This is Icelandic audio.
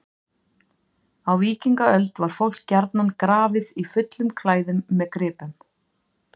á víkingaöld var fólk gjarnan grafið í fullum klæðum með gripum